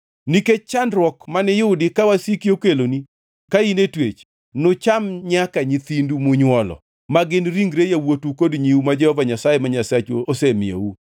Nikech chandruok maniyudi ka wasiki okeloni ka in e twech, nucham nyaka nyithindu munywolo, ma gin ringre yawuotu kod nyiu ma Jehova Nyasaye ma Nyasachu osemiyou.